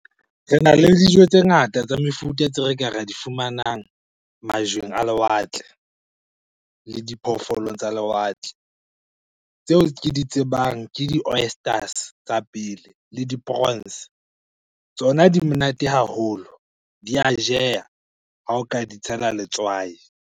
Rena le dijo tse ngata tsa mefuta tse re ka ra di fumanang majweng a lewatle le diphoofolong tsa lewatle. Tseo ke di tsebang ke di-oysters, tsa pele le di prawns. Tsona di monate haholo, di a jeha ha o ka di tshela letswai.